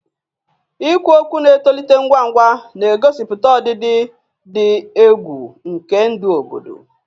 Ikwu okwu na-etolite ngwa ngwa, na-egosipụta ọdịdị dị egwu nke ndụ obodo.